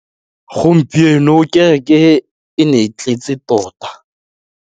Gompieno kêrêkê e ne e tletse tota.